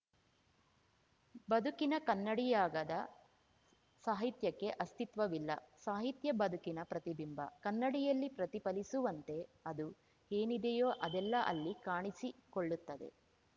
ಬದುಕಿನ ಕನ್ನಡಿಯಾಗದ ಸಾಹಿತ್ಯಕ್ಕೆ ಅಸ್ತಿತ್ವವಿಲ್ಲ ಸಾಹಿತ್ಯ ಬದುಕಿನ ಪ್ರತಿಬಿಂಬ ಕನ್ನಡಿಯಲ್ಲಿ ಪ್ರತಿಫಲಿಸುವಂತೆ ಅದು ಏನಿದೆಯೋ ಅದೆಲ್ಲ ಅಲ್ಲಿ ಕಾಣಿಸಿಕೊಳ್ಳುತ್ತದೆ